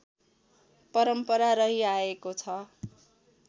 परम्परा रहिआएको छ